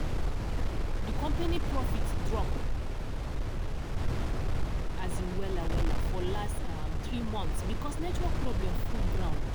di company profit drop as in um wella wella for last um three months because network problem full ground.